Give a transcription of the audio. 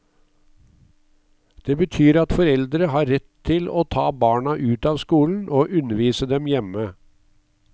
Det betyr at foreldre har rett til å ta barna ut av skolen og undervise dem hjemme.